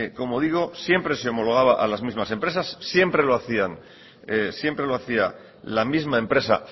como digo siempre se homologaba a las mismas empresas siempre lo hacía la misma empresa